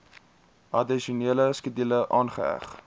addisionele skedule aangeheg